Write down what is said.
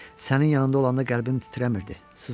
Sənin yanında olanda qəlbim titrəmirdi, sızıldamırdı.